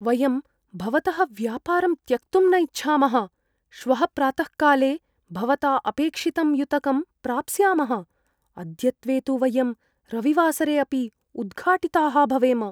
वयं भवतः व्यापारं त्यक्तुं न इच्छामः, श्वः प्रातःकाले भवता अपेक्षितं युतकं प्राप्स्यामः। अद्यत्वे तु वयं रविवासरे अपि उद्घाटिताः भवेम।